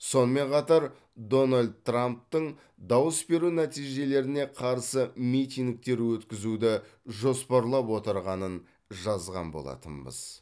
сонымен қатар дональд трамптың дауыс беру нәтижелеріне қарсы митингтер өткізуді жоспарлап отырғанын жазған болатынбыз